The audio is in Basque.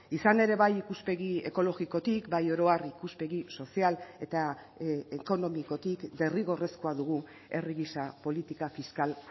izan ere bai ikuspegi ekologikotik bai oro har ikuspegi sozial eta ekonomikotik derrigorrezkoa dugu herri gisa politika fiskal